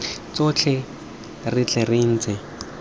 tsotlhe re tle re intshe